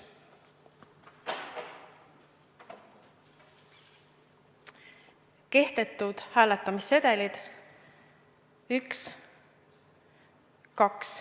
Kehtetud hääletamissedelid: 1, 2.